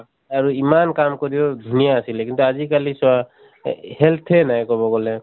আৰু ইমান কাম কৰিও, ধুনীয়া আছিলে কিন্তু আজিকালি চোৱা এ এ health এ নাই কʼব গʼলে ।